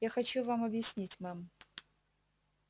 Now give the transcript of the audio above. я хочу вам объяснить мэм